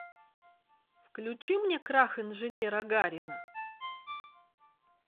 включи мне крах инженера гарина